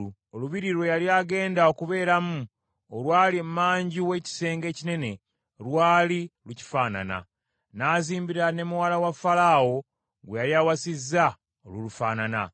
Olubiri lwe yali agenda okubeeramu olwali emanju w’ekisenge ekinene lwali lukifaanana. N’azimbira ne muwala wa Falaawo, gwe yali awasizza, olulufaanana.